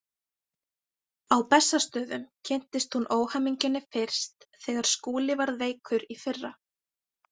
Á Bessastöðum kynntist hún óhamingjunni fyrst þegar Skúli varð veikur í fyrra.